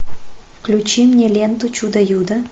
включи мне ленту чудо юдо